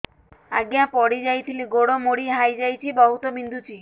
ଆଜ୍ଞା ପଡିଯାଇଥିଲି ଗୋଡ଼ ମୋଡ଼ି ହାଇଯାଇଛି ବହୁତ ବିନ୍ଧୁଛି